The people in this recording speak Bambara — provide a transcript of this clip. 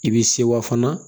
I b'i sewa fana